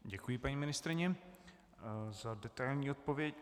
Děkuji paní ministryni za detailní odpověď.